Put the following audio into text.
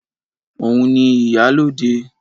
Òun ni ìyálóde